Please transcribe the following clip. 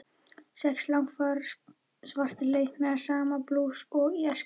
Sex langafar svartir leika sama blús og í æsku.